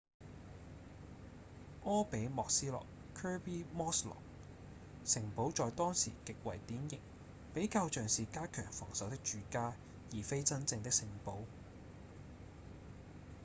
柯比莫斯洛 kirby muxloe 城堡在當時極為典型比較像是加強防守的住家而非真正的城堡